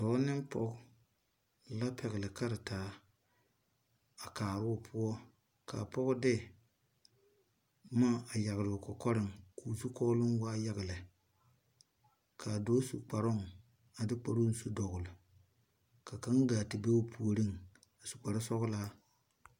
Doɔ ne poɔ la pɛgli karetaa a kaaroo puo ka poɔ de buma a yagle ɔ kɔkɔring kuu zukolon waa yaga le kaa doɔ su kparong a de kparoo su dɔgli ka kang gaa te be ɔ poɔring a su kpare sɔglaa.